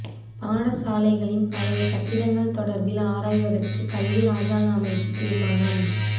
பாடசாலைகளின் பழைய கட்டிடங்கள் தொடர்பில் ஆராய்வதற்கு கல்வி இராஜாங்க அமைச்சு தீர்மானம்